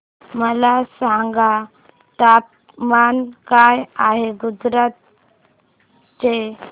मला सांगा तापमान काय आहे गुजरात चे